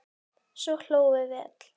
Svo hlógum við öll.